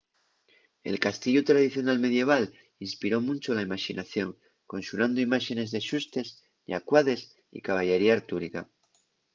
el castiellu tradicional medieval inspiró muncho la imaxinación conxurando imáxenes de xustes llacuades y caballería artúrica